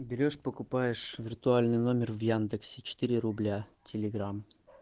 берёшь покупаешь виртуальный номер в яндексе четыре рубля телеграм